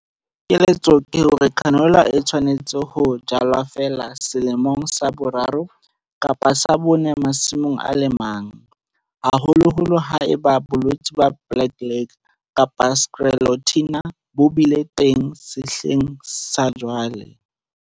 Keletso ke hore canola e tshwanetse ho jalwa feela selemong sa boraro kapa sa bone masimong a le mang, haholoholo ha eba bolwetse ba black leg kapa Sclerotinia bo bile teng sehleng sa jwale.